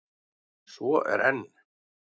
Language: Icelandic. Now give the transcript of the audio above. Svo er enn!